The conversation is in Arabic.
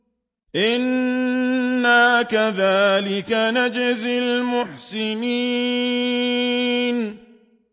إِنَّا كَذَٰلِكَ نَجْزِي الْمُحْسِنِينَ